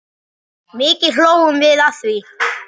Mikið hlógum við að því.